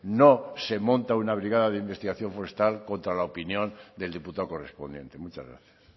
no se monta una brigada de investigación forestal contra la opinión del diputado correspondiente muchas gracias